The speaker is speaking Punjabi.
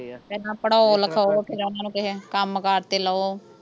ਹੁੰਦੇ ਆ ਪਹਿਲਾਂ ਪੜ੍ਹਾਓ ਲਿਖਾਓ ਤੇ ਫੇਰ ਓਹਨਾਂ ਨੂੰ ਕਿਸੇ ਕੰਮ ਕਾਰ ਤੇ ਲਓ